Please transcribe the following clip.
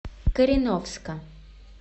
кореновска